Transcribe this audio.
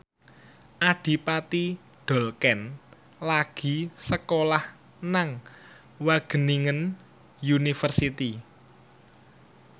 Adipati Dolken lagi sekolah nang Wageningen University